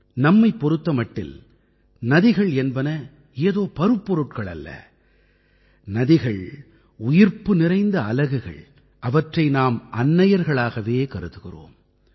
நம்மைப் பொறுத்த மட்டில் நதிகள் என்பன ஏதோ பருப்பொருட்கள் அல்ல நதிகள் உயிர்ப்பு நிறைந்த அலகுகள் அவற்றை நாம் அன்னையர்களாகவே கருதுகிறோம்